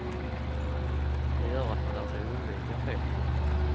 Det gör att man lär sig undvika fet mat.